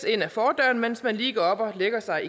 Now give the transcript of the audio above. ind af fordøren mens man lige går op og lægger sig